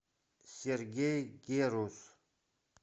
сергей герус